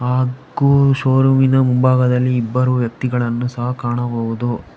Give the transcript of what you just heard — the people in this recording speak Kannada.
ಹಾಗು ಷೋರೂಮ್ ಇನ ಮುಂಭಾಗದಲ್ಲಿ ಇಬ್ಬರು ವ್ಯಕ್ತಿಗಳನ್ನು ಸಹ ಕಾಣಬಹುದು.